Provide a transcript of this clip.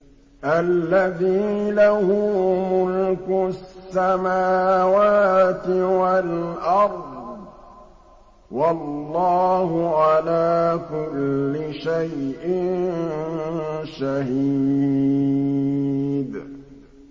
الَّذِي لَهُ مُلْكُ السَّمَاوَاتِ وَالْأَرْضِ ۚ وَاللَّهُ عَلَىٰ كُلِّ شَيْءٍ شَهِيدٌ